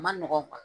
Ma nɔgɔn